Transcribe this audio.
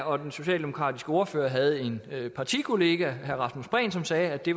og den socialdemokratiske ordfører havde en partikollega herre rasmus prehn som sagde at det